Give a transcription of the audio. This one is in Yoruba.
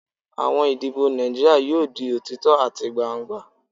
Awọn idibo Naijiria yoo di otitọ ati gbangba